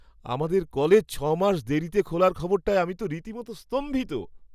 আমাদের কলেজ ছ' মাস দেরিতে খোলার খবরটায় আমি তো রীতিমতো স্তম্ভিত।